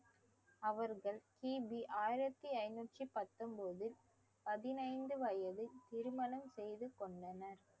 அவர்கள் கிபி ஆயிரத்தி ஐந்நூத்தி பத்தொன்பதில் பதினைந்து வயதில் திருமணம் செய்து கொண்டனர்